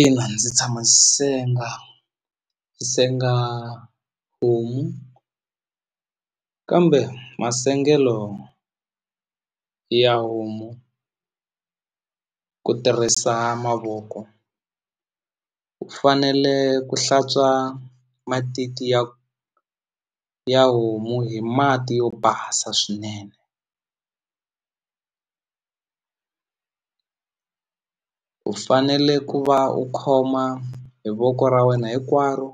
Ina ndzi tshama senga ndzi senga homu kambe masengelo ya homu ku tirhisa mavoko u fanele ku hlantswa matiti ya ya homu hi mati yo basa swinene u fanele ku va u khoma hi voko ra wena hinkwaro